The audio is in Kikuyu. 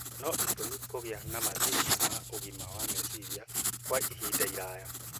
no itũme kũgĩe na mathĩna ma ũgima wa meciria kwa ihinda iraya.